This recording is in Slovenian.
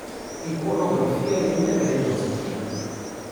Ikonografija je neverjetno zgoščena.